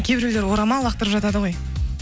кейбіреулер орамал лақтырып жатады ғой